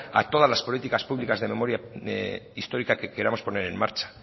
a todas las políticas públicas de memoria histórica que queramos poner en marcha